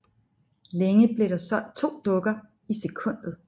Længe blev der solgt to dukker i sekundet